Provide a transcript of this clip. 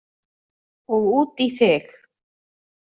Og út í þig.